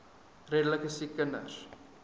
redelike siek kinders